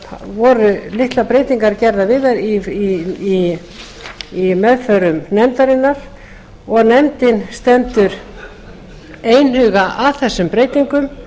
voru litlar breytingar gerðar við það í meðförum nefndarinnar og nefndin stendur einhuga að þessum breytingum